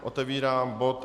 Otevírám bod